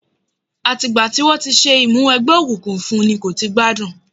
Àti ìgbà tí wọ́n ti ṣe Ìmúwẹgbẹ́ òkùnkùn fún n kò ti gbádùn